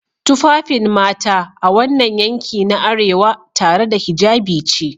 Tufafin mata a wannan yanki na arewa, tare da hijabi ce